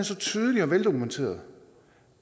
så tydelig og veldokumenteret